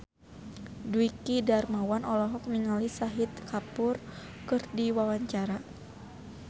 Dwiki Darmawan olohok ningali Shahid Kapoor keur diwawancara